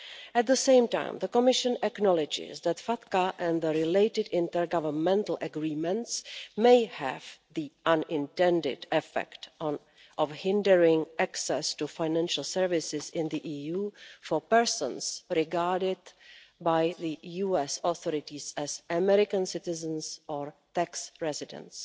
At the same time, the Commission acknowledges that FATCA and the related intergovernmental agreements may have the unintended effect of hindering access to financial services in the EU for persons regarded by the US authorities as American citizens or tax residents.